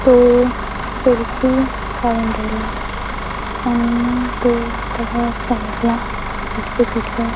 तो सेल्फी काढून राहिला आणि तो त्याच्या साईड ला इकडे तिकडे--